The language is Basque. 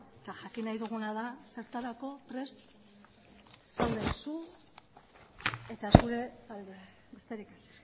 jakin nahi duguna da zertarako prest zauden zu eta zure taldea besterik ez